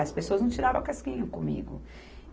As pessoas não tiravam casquinha comigo.